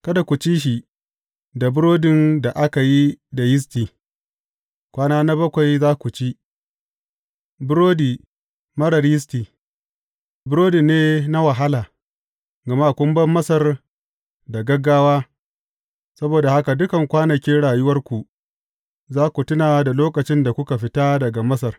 Kada ku ci shi da burodin da aka yi da yisti, kwana bakwai za ku ci burodi marar yisti, burodi ne na wahala, gama kun bar Masar da gaggawa, saboda haka dukan kwanakin rayuwarku za ku tuna da lokacin da kuka fita daga Masar.